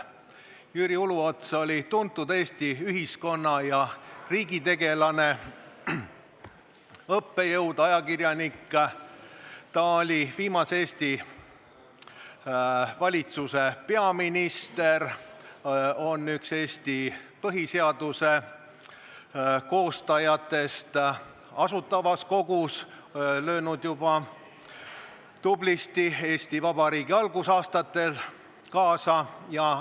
Jüri Uluots oli tuntud Eesti ühiskonna- ja riigitegelane, õppejõud, ajakirjanik, ta oli viimase Eesti valitsuse peaminister, üks Eesti põhiseaduse koostajatest ning lõi tublisti juba Eesti Vabariigi algusaastatel Asutava Kogu tegevuses kaasa.